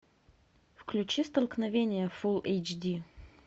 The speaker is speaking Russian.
включи столкновение фул эйч ди